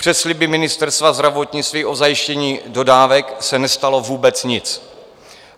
Přes sliby Ministerstva zdravotnictví o zajištění dodávek se nestalo vůbec nic.